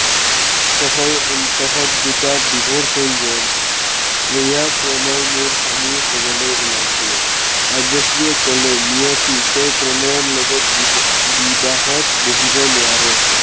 তহঁত দুটাৰ divorce হৈ গল। এইয়া প্ৰণয় মোৰ স্বামী হবলৈ ওলাইছে। কাব্যশ্ৰীয়েে কলে, নিয়তি তই প্ৰণয়ৰ লগত বিবা~বিবাহত বহিব নোৱাৰ।